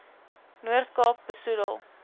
noord kaap besoedel